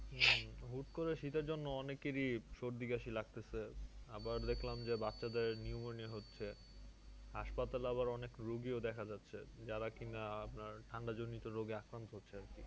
হম হুট্ করে শীতের জন্য অনেকেরই সর্দি কাশি লাগতেছে, আবার দেখলাম যে বাচ্চাদের pneumonia হচ্ছে হাসপাতালে আবার অনেক রুগীও দেখা যাচ্ছে যারা কিনা আপনার ঠান্ডা জনিত রোগে আক্রান্ত হচ্ছে আর কি